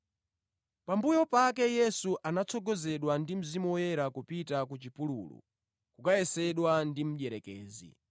Pambuyo pake Yesu anatsogozedwa ndi Mzimu Woyera kupita ku chipululu kukayesedwa ndi mdierekezi.